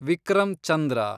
Vikram Chandra